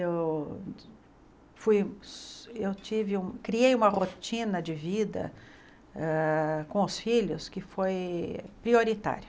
Eu fui eu tive um criei uma rotina de vida hã com os filhos que foi prioritária.